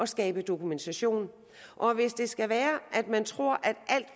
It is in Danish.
skabe dokumentation og hvis det skal være at man tror